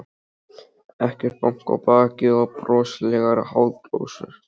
Ekkert bank á bakið og broslegar háðsglósur.